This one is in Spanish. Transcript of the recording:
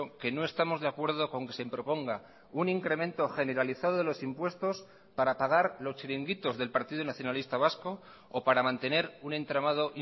que no estamos de acuerdo con que se proponga un incremento generalizado de los impuestos para pagar los chiringuitos del partido nacionalista vasco o para mantener un entramado